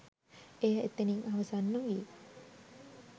එය එතනින් අවසන් නොවී